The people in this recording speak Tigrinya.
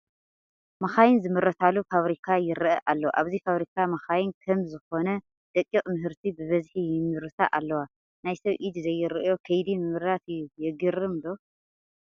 መኻይን ዝምረታሉ ፋብሪካ ይርአ ኣሎ፡፡ ኣብዚ ፋብሪካ መኻይን ከም ዝኾነ ደቂቕ ምህርቲ ብብዝሒ ይምረታ ኣለዋ፡፡ ናይ ሰብ ኢድ ዘይርአዮ ከይዲ ምምራት እዩ፡፡ የግርም ዶ?